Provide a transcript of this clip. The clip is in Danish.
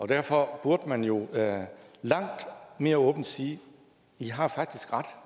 derfor burde man jo langt mere åbent sige i har faktisk ret